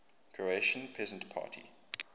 croatian peasant party